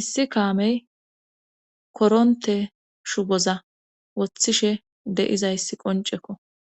issi kaamey koronte shuboza wothishe de7izayss qoncekko